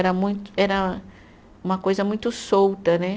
Era muito, era uma coisa muito solta, né?